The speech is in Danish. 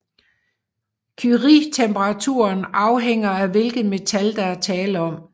Curietemperaturen afhænger af hvilket metal der er tale om